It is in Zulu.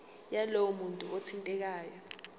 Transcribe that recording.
yalowo muntu othintekayo